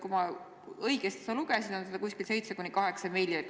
Kui ma õigesti sellest aru sain, on seda raha 7–8 miljonit.